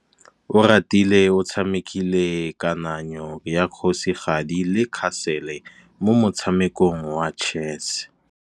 Oratile o tshamekile kananyô ya kgosigadi le khasêlê mo motshamekong wa chess.